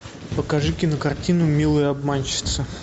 покажи кинокартину милые обманщицы